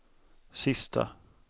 sista